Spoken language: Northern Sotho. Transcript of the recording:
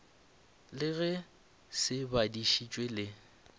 le ge se badišitšwe le